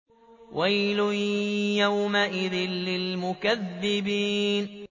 وَيْلٌ يَوْمَئِذٍ لِّلْمُكَذِّبِينَ